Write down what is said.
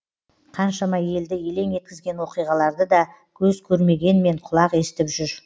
қаншама елді елең еткізген оқиғаларды да көз көрмегенмен құлақ естіп жүр